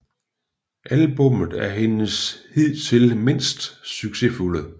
Albummet er hendes hidtil mindst succesfulde